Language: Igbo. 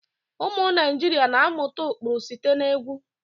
Ụmụ Naijiria na-amụta ụkpụrụ site na egwu.